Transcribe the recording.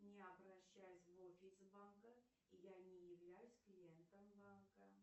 не обращаюсь в офис банка и я не являюсь клиентом банка